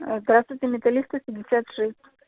здравствуйте металлистов пятьдесят шесть